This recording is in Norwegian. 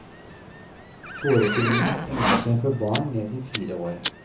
Forestillingen egner seg for barn ned til fire år.